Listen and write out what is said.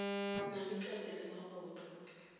na le katse le magotlo